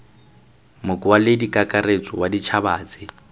mokwaledi kakaretso wa ditšhaba tse